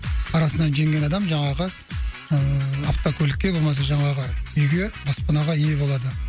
арасынан жеңген адам жаңағы ыыы автокөлікке иә болмаса жаңағы үйге баспанаға ие болады